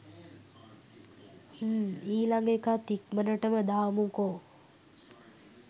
හ්ම් ඊලඟ එකත් ඉක්මනටම දාමුකො